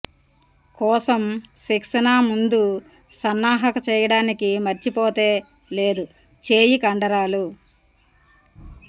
కోసం శిక్షణ ముందు సన్నాహక చేయడానికి మర్చిపోతే లేదు చేయి కండరాలు